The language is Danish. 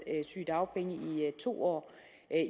sygedagpenge i to år